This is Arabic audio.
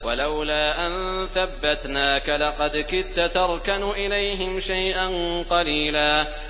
وَلَوْلَا أَن ثَبَّتْنَاكَ لَقَدْ كِدتَّ تَرْكَنُ إِلَيْهِمْ شَيْئًا قَلِيلًا